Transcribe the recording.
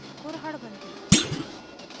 kurhad bandi